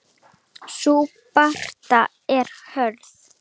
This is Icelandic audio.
Sú barátta er hörð.